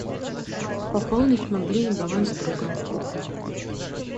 пополнить мобильный баланс друга